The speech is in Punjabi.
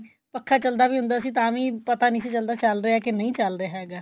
ਪੱਖਾ ਚੱਲਦਾ ਵੀ ਹੁੰਦਾ ਸੀ ਤਾਂ ਵੀ ਪਤਾ ਨਹੀਂ ਸੀ ਚੱਲਦਾ ਕਿ ਚੱਲ ਰਿਹਾ ਕਿ ਨਹੀਂ ਚੱਲ ਰਿਹਾ ਹੈਗਾ